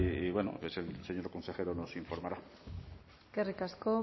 y bueno pues el señor consejero nos informará eslerrik asko